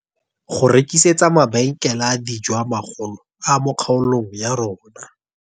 "Go rekitsetsa mabenkele a dijo a magolo a mo kgaolong ya rona."